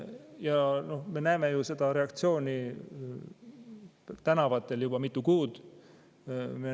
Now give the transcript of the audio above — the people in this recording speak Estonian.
Ja me oleme ju seda reaktsiooni tänavatel näinud juba mitu kuud.